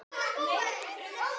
Allir pass og lauf út.